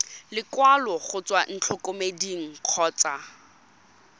lekwalo go tswa ntlokemeding kgotsa